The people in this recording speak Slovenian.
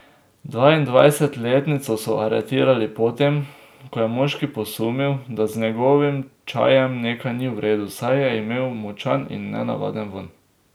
Dvaindvajsetletnico so aretirali po tem, ko je moški posumil, da z njegovim čajem nekaj ni v redu, saj je imel močan in nenavaden vonj.